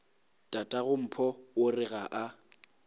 tatagompho o re ga a